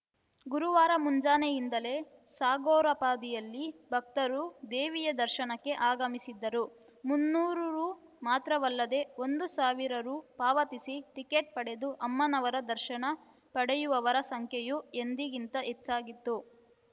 ಗುರುವಾರ ಮುಂಜಾನೆಯಿಂದಲೇ ಸಾಗರೋಪಾದಿಯಲ್ಲಿ ಭಕ್ತರು ದೇವಿಯ ದರ್ಶನಕ್ಕೆ ಆಗಮಿಸಿದ್ದರು ಮುನ್ನೂರು ರು ಮಾತ್ರವಲ್ಲದೇ ಒಂದು ಸಾವಿರ ರು ಪಾವತಿಸಿ ಟಿಕೆಟ್‌ ಪಡೆದು ಅಮ್ಮನವರ ದರ್ಶನ ಪಡೆಯುವವರ ಸಂಖ್ಯೆಯೂ ಎಂದಿಗಿಂತ ಹೆಚ್ಚಾಗಿತ್ತು